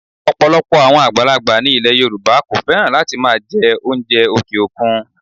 Ọ̀pọ̀lọpọ̀ àwọn àgbàlagbà ni ilẹ̀ Yorùbá kò fẹ́ràn láti máa jẹ oúnjẹ òkè òkun